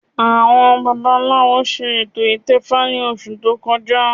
Àwọn babaláwo ṣe ètò ìtẹfa ní oṣù tó kọjá